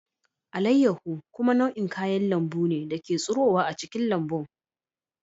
Alayyahu kuma nau'in kayan lambu ne da ke tsirowa a cikin lambun.